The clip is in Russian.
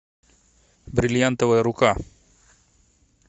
бриллиантовая рука